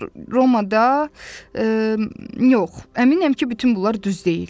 Romada yox, əminəm ki, bütün bunlar düz deyil.